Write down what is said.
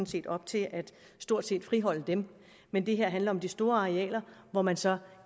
set op til stort set at friholde dem men det her handler om de store arealer hvor man så